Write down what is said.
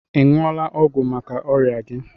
Ị ṅụọla ọgwụ maka ọrịa gi?